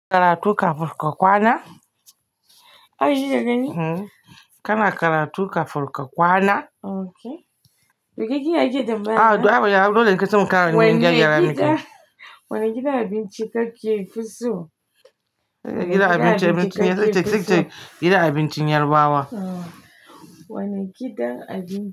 Karatu kafin ka kwana. Haka kike gani? Kana karatu kafin ka kwana. Okay. To ke kin iya kike tambaya na? A toh ai ban iya. A'a dole in kai ce mun kana neman jari yara ne kai. Wanne gida? Wane gidan abinci kake fi so? Gidan abincin abincin nan sai ki ce sai ki ce Gidan abincin yarbawa. Wane gidan abinci?